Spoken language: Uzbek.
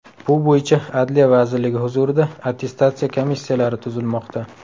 Bu bo‘yicha Adliya vazirligi huzurida attestatsiya komissiyalari tuzilmoqda.